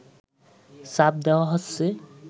চাপ দেওয়া হচ্ছে